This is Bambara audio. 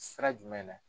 Sira jumɛn na